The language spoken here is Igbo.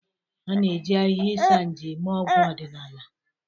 A na-eji ahịhịa Isanaje eme ọgwụ ọdịnala.